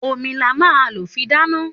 Òmí là má ń ló fì dàná